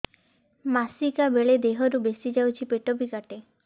ମାସିକା ବେଳେ ଦିହରୁ ବେଶି ଯାଉଛି ପେଟ ବି କାଟେ